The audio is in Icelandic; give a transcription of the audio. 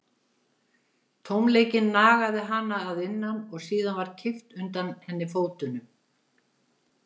Tómleikinn nagaði hana að innan og síðan var kippt undan henni fótunum.